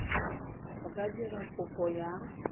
a ka dira kopo ya